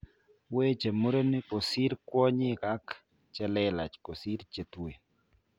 Weche murenik kosir kwonyik ak chelelach kosir chetueen